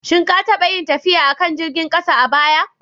Shin ka taɓa yin tafiya a kan jirgin ƙasa a baya?